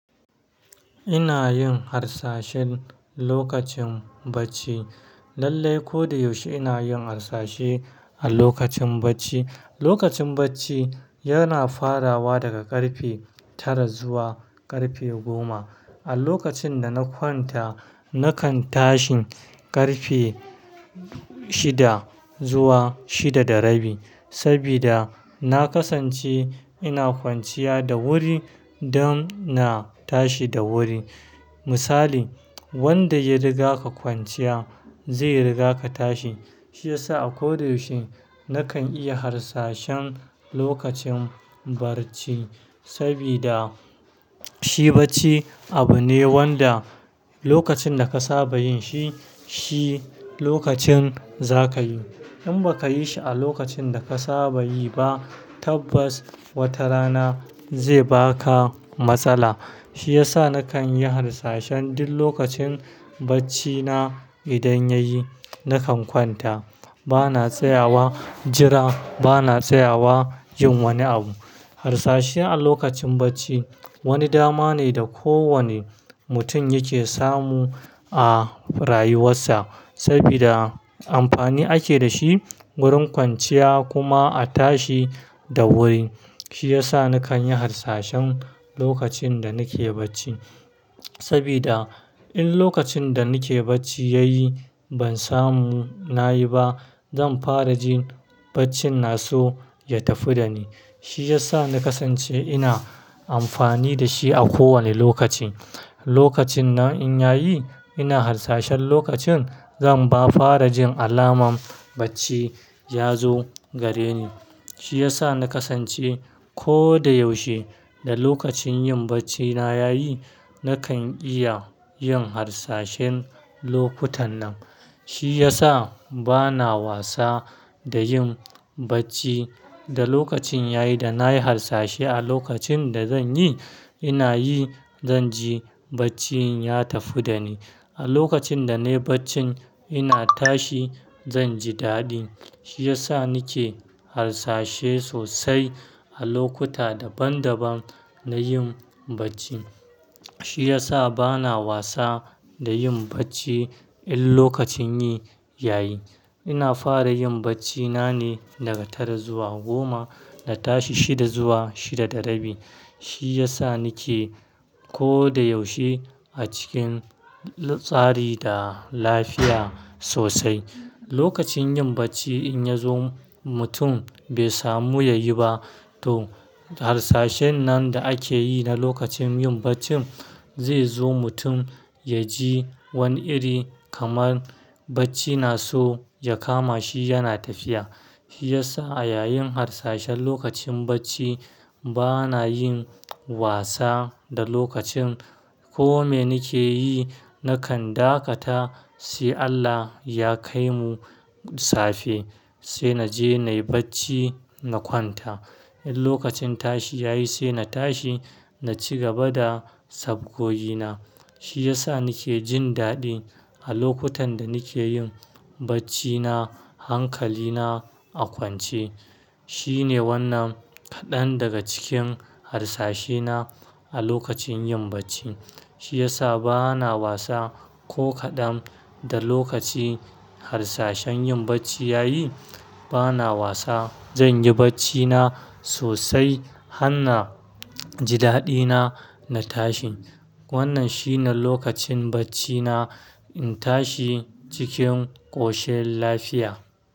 Ina yin harsashen lokacin bacci. Lallai, ko da yaushe ina yin harsashi a lokacin bacci. Lokacin bacci yana farawa daga ƙarfe tara zuwa ƙarfe goma. A lokacin da na kwanta, nakan tashi ƙarfe shida zuwa shida da rabi. Saboda na kasance ina kwanciya da wuri don na tashi da wuri. Misali, wanda ya riga ka kwanciya zai riga ka tashi. Shi yasa a ko da yaushe nakan iya harsashin lokacin bacci. Sabida shi bacci abu ne wanda lokacin da ka saba yin shi, shi lokacin za ka yi. In ba ka yi shi a lokacin da ka saba yi ba, tabbas wata rana zai ba ka matsala. Shi yasa nakan yi harsashen duk lokacin bacci na idan ya yi, nakan kwanta. Bana tsayawa jira, bana tsayawa yin wani abu. Harsashi a lokacin bacci wani dama ne da kowane mutum yake samu a rayuwarsa. Saboda amfani ake da shi wurin kwanciya kuma a tashi da wuri. Shi yasa nakan yi harsashen lokacin da nake bacci. Sabida in lokacin da nake bacci ya yi ban samu na yi ba, zan fara jin bacci na so ya tafi da ni. Shi yasa na kasance ina amfani da shi a kowane lokaci. Lokacin nan in ya yi ina harsashin lokacin, zan ma fara jin alaman bacci ya zo gare ni. Shi yasa na kasance ko da yaushe da lokacin yin bacci na ya yi, nakan iya yin harsashen lokutan nan. Shi yasa bana wasa da yin bacci da lokacin ya yi da na yi harsashe a lokacin da zan yi, ina yi zan ji baccin ya tafi da ni. A lokacin da nayi baccin ina tashi zan ji daɗi. Shi yasa nake harsashe sosai a lokuta daban daban na yin bacci. Shi yasa bana wasa da yin bacci in lokacin yi ya yi. Ina fara yin bacci na ne daga tara zuwa goma, na tashi shida zuwa shida da rabi. Shi yasa nake ko da yaushe a cikin tsari da lafiya sosai. Lokacin yin bacci in ya zo mutum bai samu ya yi ba to harsashen nan da ake yi na lokacin yin bacci zai zo mutum ya ji wani iri kamar bacci na so ya kama shi yana tafiya. Shi yasa a yayin harsashin lokacin bacci bana yin wasa da lokacin. Ko me nake yi, nakan dakata sai Allah ya kai mu safe sai na je nayi bacci na kwanta. In lokacin tashi ya yi sai na tashi na ci gaba da sabgogi na. Shi yasa nake jin daɗi a lokutan da nake yin bacci na hankali na a kwance. Shine wannan kaɗan daga cikin harsashena a lokacin yin bacci. Shi yasa bana wasa ko kaɗan da lokaci harsashen yin bacci ya yi. Bana wasa zan yi bacci na sosai har na ji daɗina na tashi. Wannan shine lokacin bacci na in tashi cikin ƙoshi lafiya.